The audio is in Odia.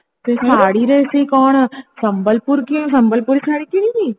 ଶାଢ଼ୀରେ ସେ କଣ ସମ୍ବଲପୁର ସମ୍ବଲପୁରୀ ଶାଢ଼ୀ କିଣିବି